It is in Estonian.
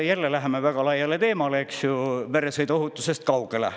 Jälle kaldume väga laia teemasse, meresõiduohutusest kaugele.